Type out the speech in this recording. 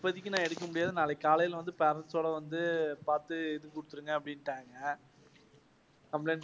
இப்போதைக்கு நான் எடுக்க முடியாது. நாளைக்கு காலைல வந்து parents சோட பாத்து குடுத்துருங்க அப்படின்னுட்டாங்க. complaint.